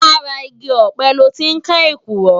Làrá igi òpè lòtí n ká ékúrò